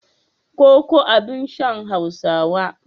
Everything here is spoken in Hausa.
Koko abin shan Hausawa ne.